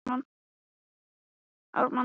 Áður en hann vissi af var glasið tómt.